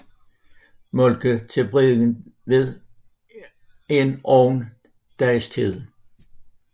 Moltke til Bregentved en one dages tid